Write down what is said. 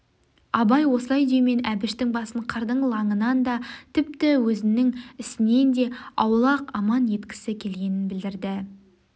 абай осылай деумен әбіштің басын қырдың лаңынан да тіпті өзінің ісінен де аулақ аман еткісі келгенін білдірді